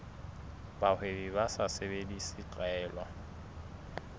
bahwebi ba sa sebedise tlwaelo